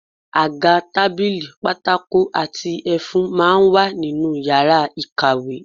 Àga, tábìlì, pátákó àti ẹfun máa ń wà ní yàrá ìkàwé